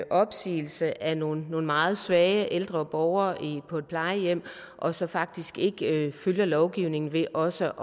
opsigelse af nogle meget svage ældre borgere på et plejehjem og så faktisk ikke følger lovgivningen ved også